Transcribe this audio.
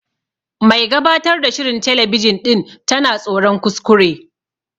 Mai gabatar ta shirin telebijin ɗin tana tsoron kuskure.